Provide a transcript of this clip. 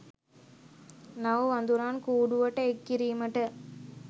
නව වඳුරන් කූඩුවට එක් කිරීමට